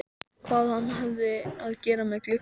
Hvað hafði hann að gera með glugga?